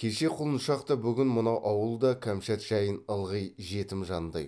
кеше құлыншақ та бүгін мынау ауыл да кәмшат жайын ылғи жетім жандай